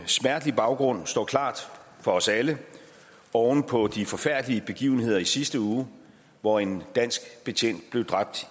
smertelig baggrund står klart for os alle oven på de forfærdelige begivenheder i sidste uge hvor en dansk betjent blev dræbt